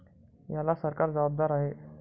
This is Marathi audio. याला सरकार जबाबदार आहे.